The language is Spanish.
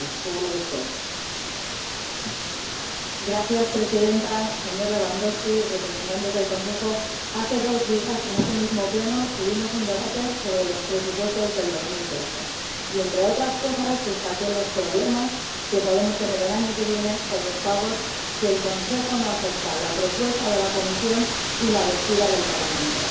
Señora Presidenta, señor Lewandowski, señores representantes del Consejo, hace dos días en este mismo Pleno tuvimos un debate sobre los presupuestos de 2013 y, entre otras cosas, destaqué los problemas que podemos tener el año que viene con los pagos si el Consejo no acepta la propuesta de la Comisión y la posición del Parlamento.